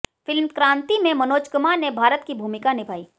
film Kranti में मनोज कुमार ने भारत की भूमिका निभाई